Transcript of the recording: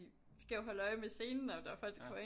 Skal jo holde øje med scenen og der er jo folk der kommer ind